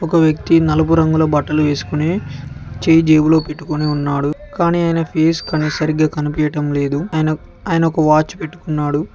ఒక వ్యక్తి నలుపు రంగులో బట్టలు వేసుకునే చేయి జేబులో పెట్టుకుని ఉన్నాడు కానీ ఆయన ఫేస్ కానీ సరిగ్గా కనిపించడం లేదు అయ ఆయన ఒక వాచ్ పెట్టుకున్నాడు.